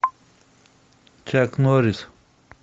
чак норрис